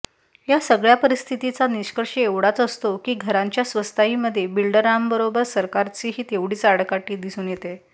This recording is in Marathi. या सगळ्या परिस्थितीचा निष्कर्ष एवढाच असतो की घरांच्या स्वस्ताईमध्ये बिल्डरांबरोबर सरकारचीही तेवढीच आडकाठी दिसून येते